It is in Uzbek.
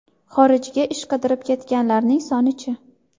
Xorijga ish qidirib ketganlarning soni-chi?